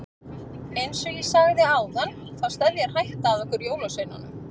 Eins og ég sagði áðan þá steðjar hætta að okkur jólasveinunum.